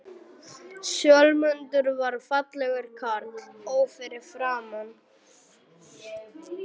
Sölmundur var fallegur karl, ó fyrir framan.